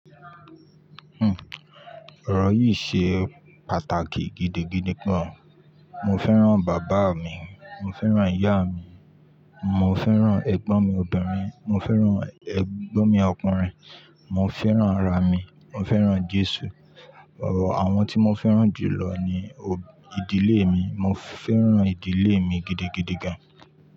Hmm, ọ̀rọ̀ yìí ṣe pàtàkì gidigidi gan. Mo fẹ́ràn bàbá mi, mo fẹ́ràn ìyá mi, mo fẹ́ràn ẹ̀gbọ́n mi obìnrin, mo fẹ́ràn ẹ̀gbọ́n mi ọkùnrin, mo fẹ́ràn ara mi, mo fẹ́ràn Jésù. Àwọn tí mo fẹ́ràn jùlọ ni ìdílé mi. Mo fẹ́ràn ìdílé mi gidigidi gan.